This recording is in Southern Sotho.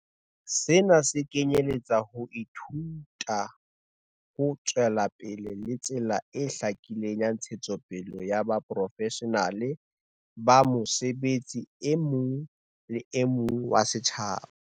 Sena se kenyeletsa ho ithuta ho tswelapele le tsela e hlakileng ya ntshetsopele ya boprofeshenale ba mosebetsi e mong le mong wa setjhaba.